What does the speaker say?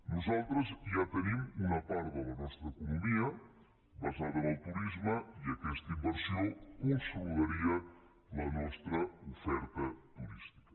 nosaltres ja tenim una part de la nostra economia basada en el turisme i aquesta inversió consolidaria la nostra oferta turística